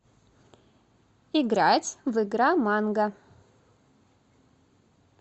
играть в игра манго